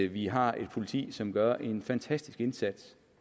vi har et politi som gør en fantastisk indsats